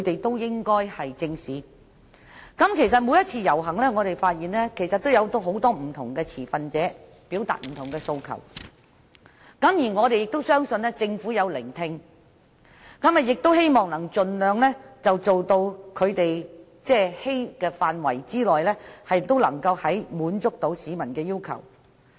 事實上，我們發現每一次遊行都有很多不同持份者表達不同訴求，而我們亦相信政府有聆聽，亦希望能盡量在能力範圍內滿足市民的要求。